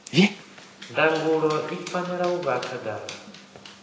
ndangulo i fanela u vha khagala